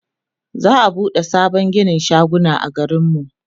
za'a buɗe sabon ginin shaguna a garin mu